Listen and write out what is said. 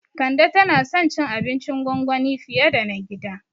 Kande tana son cin abincin gwangwani fiye da na gida